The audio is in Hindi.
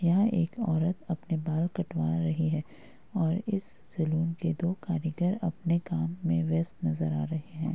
यहाँ एक औरत अपने बाल कटवा रही है और इस सैलून के दो कारीगर अपने काम में व्यस्त नजर आ रहे हैं।